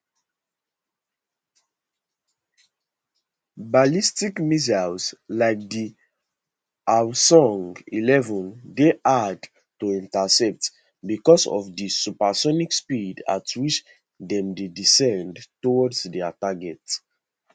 ballistic missiles like di hwasong11 dey hard to intercept because of di supersonic speed at which dem dey descend towards dia target